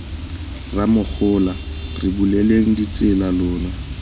rramogola re buleleng ditsela lona